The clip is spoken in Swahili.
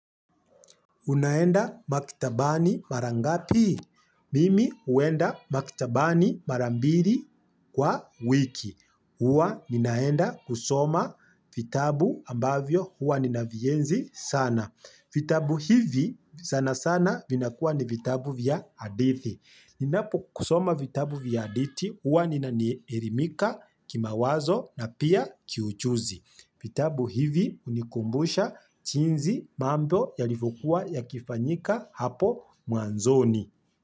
Unaenda maktabani mara ngapi? Mimi huenda maktabani mara mbiri kwa wiki. Huwa ninaenda kusoma vitabu ambavyo huwa ninavienzi sana. Vitabu hivi sana sana vinakuwa ni vitabu vya hadithi. Ninapo kusoma vitabu vya hadithi huwa ninaerimika kimawazo na pia kiuchuzi. Vitabu hivi hunikumbusha chinzi mambo yalivyokuwa yakifanyika hapo mwanzoni.